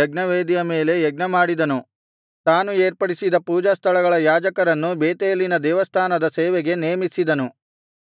ಯಜ್ಞವೇದಿಯ ಮೇಲೆ ಯಜ್ಞ ಮಾಡಿದನು ತಾನು ಏರ್ಪಡಿಸಿದ ಪೂಜಾಸ್ಥಳಗಳ ಯಾಜಕರನ್ನು ಬೇತೇಲಿನ ದೇವಸ್ಥಾನದ ಸೇವೆಗೆ ನೇಮಿಸಿದನು